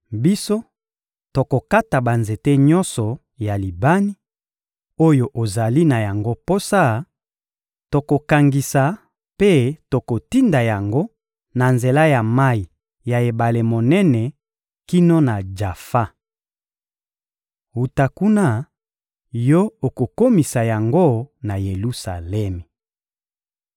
Biso, tokokata banzete nyonso ya Libani, oyo ozali na yango posa; tokokangisa mpe tokotinda yango na nzela ya mayi ya ebale monene kino na Jafa. Wuta kuna, yo okokomisa yango na Yelusalemi.